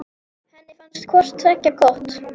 Henni fannst hvort tveggja gott.